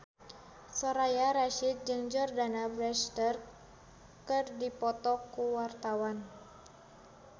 Soraya Rasyid jeung Jordana Brewster keur dipoto ku wartawan